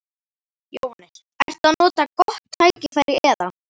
Jóhannes: Ertu að nota gott tækifæri eða?